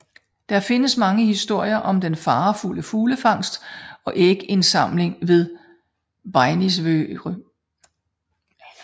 Der findes mange historier om den farefulde fuglefangst og ægindsamling ved Beinisvørð